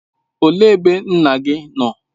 Olee ebe nna gị nọ?